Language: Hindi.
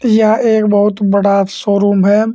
यह एक बहुत बड़ा शोरूम है।